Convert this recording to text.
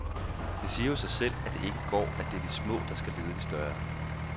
Det siger jo sig selv, at det ikke går, at det er de små, der skal lede de større.